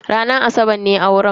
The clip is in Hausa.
Ranar asabar ne auren.